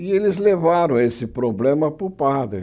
E eles levaram esse problema para o padre.